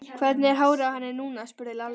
Hvernig er hárið á henni núna? spurði Lalli.